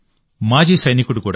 మాజీ సైనికుడు కూడా